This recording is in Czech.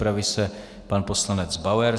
Připraví se pan poslanec Bauer.